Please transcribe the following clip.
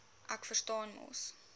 ek verstaan mos